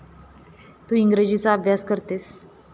तू इंग्रजीचा अभ्यास करतेस.